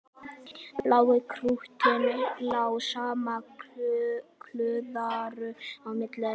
Blái klúturinn lá samankuðlaður á milli þeirra.